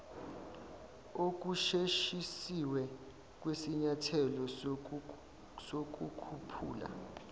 okusheshisiwe kwesinyathelo sokukhuphula